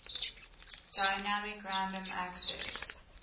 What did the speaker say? dynamic random access